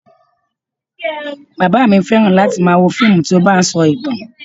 Bàbá mi fẹ́ran láti máa wo fíìmù tí ó bá ń sọ ìtàn